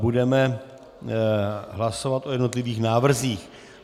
Budeme hlasovat o jednotlivých návrzích.